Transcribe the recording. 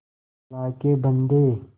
अल्लाह के बन्दे